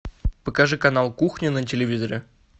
покажи канал кухня на телевизоре